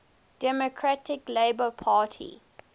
democratic labour party